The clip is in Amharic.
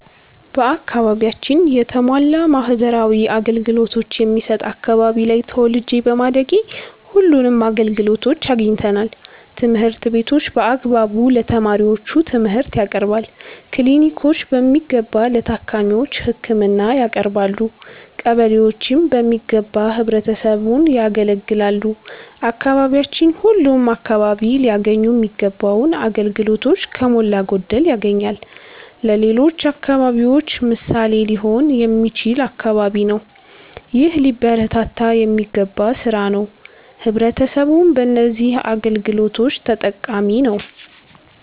በአከባቢያችን የተሟላ ማህበራዊ አገልገሎቶች የሚሠጥ አከባቢ ላይ ተወልጄ በማደጌ ሁለንም አገልግሎቶች አግኝተናል። ትምህርት ቤቶች በአግባቡ ለተማሪዎቹ ትምርህት ያቀርባሉ። ክሊኒኮች በሚገባ ለታካሚዎች ህክምና ያቀረባሉ። ቀበሌዎችም በሚገባ ህብረተሰቡን ያገለግላሉ። አካባቢያችን ሁለም አከባቢ ላያገኙ ሚገባውን አገልግሎቶች ከሞላ ጎደል ያገኛል። ለሌሎች አከባቢዎች ምሣሌ ሊሆን የሚችል አከባቢ ነው። ይህ ሊበረታታ የሚገባ ስራ ነው። ህብረተሰቡም በነዚህ አገልግሎቶች ተጠቃሚ ነዉ።